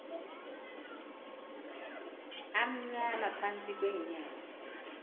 amnyama phantsi kweenyawo